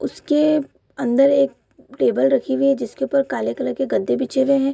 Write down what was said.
उसके अंदर एक टेबल रखी हुई है जिसके ऊपर काले कलर के गद्दे बिछे हुए है।